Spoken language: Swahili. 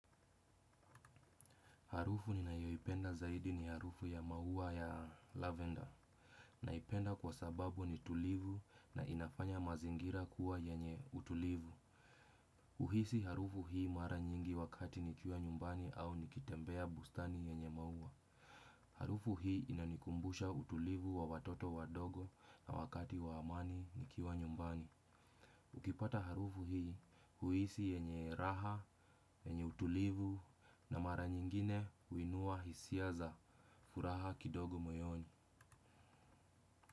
Harufu ninayoipenda zaidi ni harufu ya maua ya lavender. Naipenda kwa sababu ni tulivu na inafanya mazingira kuwa yenye utulivu. Huhisi harufu hii mara nyingi wakati nikiwa nyumbani au nikitembea bustani yenye maua. Harufu hii inanikumbusha utulivu wa watoto wadogo na wakati wa amani nikiwa nyumbani. Ukipata harufu hii huhisi yenye raha, yenye utulivu na mara nyingine huinua hisia za furaha kidogo moyoni.